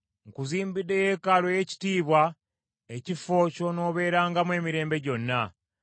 nkuzimbidde yeekaalu ey’ekitiibwa, ekifo ky’onoobeerangamu emirembe gyonna.”